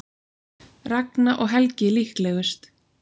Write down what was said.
Ragna og Helgi líklegust